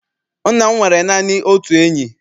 Nna m nwere naanị otu enyi.